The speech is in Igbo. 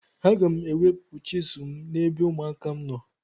Aga m ewepụ chizụl m n'ebe ụmụaka m nọ.